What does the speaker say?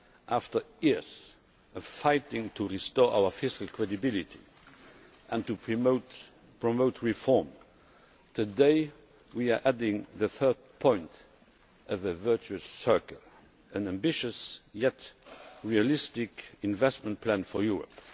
After years of fighting to restore our fiscal credibility and to promote reform, today we are adding the third point of a virtuous triangle an ambitious yet realistic investment plan for Europe.